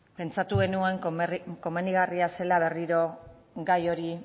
pentsatu genuen komenigarria zela berriro gai hori